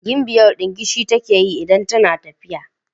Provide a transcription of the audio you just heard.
Gimbiyar dingishi take idan tana tafiya.